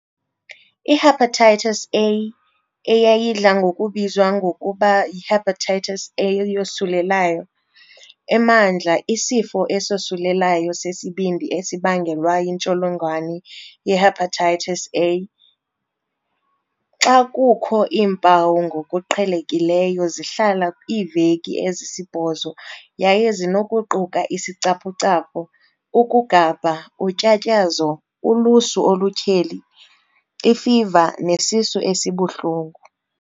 IHepatitis A, eyayidla ngokubizwa ngokuba yihepatitis eyosulelayo, emandla isifo esosulelayo sesibindi esibangelwa yintsholongwane ihepatitis A, HAV. Xa kukho iimpawu ngokuqhelekileyo zihlala iiveki ezisibhozo yaye zinokuquka isicaphucaphu, ukugabha, utyatyazo, ulusu olutyheli, ifiva, nesisu esibuhlungu.